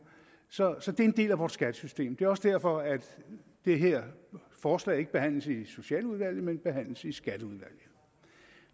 så så det er en del af vort skattesystem det er også derfor at det her forslag ikke behandles i socialudvalget men behandles i skatteudvalget